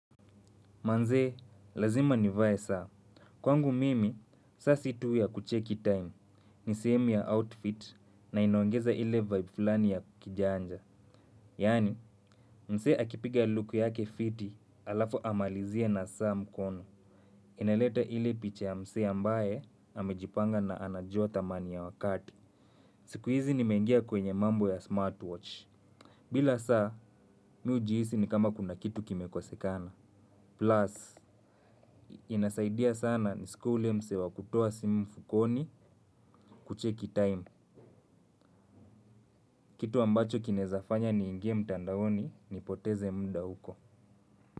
Manzee, lazima nivae saa. Kwangu mimi, saa si tu ya kucheki time. Ni sehemu ya outfit na inoangeza ile vibe fulani ya kijanja. Yani, mse akipiga luku yake fiti alafu amalizie na saa mkono. Inaleta ile picha ya msee ambaye, amejipanga na anajua thamani ya wakati. Siku hizi nimeingia kwenye mambo ya smartwatch. Bila saa, mi hujihisi ni kama kuna kitu kimekosekana. Plus, inasaidia sana nisikue ule mse wa kutoa simu mfukoni kucheki time. Kitu ambacho kinezafanya niingie mtandaoni nipoteze mda huko.